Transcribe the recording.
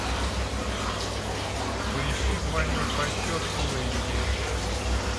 поищи двойной просчет фул эйч ди